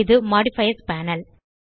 இது modifiers panel